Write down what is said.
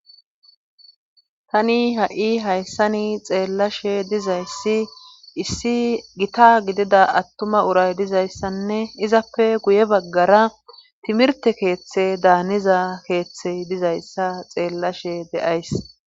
Tani ha'i hayssani xeellashe dizayssi issi gita gidida attuma uray dizayssanne izappe guye baggara timirte keeththe daaniza keeththey dizayssa xeellashe de'ays.